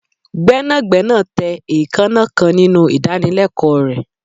gbénàgbénà tẹ eekanna kan ninu idanileko rẹ